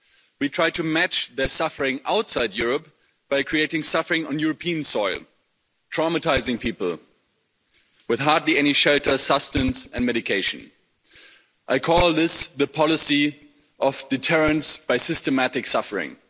We try to match their suffering outside Europe by creating suffering on European soil, traumatising people with hardly any shelter, sustenance and medication. I call this the policy of deterrence by systematic suffering'.